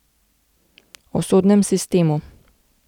O sodnem sistemu.